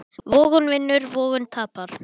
Vogun vinnur, vogun tapar.